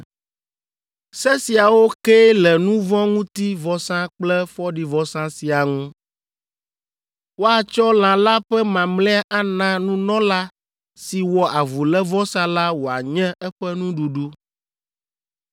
“Se siawo kee le nu vɔ̃ ŋuti vɔsa kple fɔɖivɔsa siaa ŋu. Woatsɔ lã la ƒe mamlɛa ana nunɔla si wɔ avulévɔsa la wòanye eƒe nuɖuɖu.